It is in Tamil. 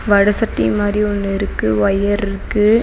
வட சட்டி மாறி ஒன்னு இருக்கு ஒயர்ருக்கு .